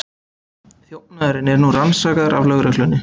Þjófnaðurinn er nú rannsakaður af lögreglunni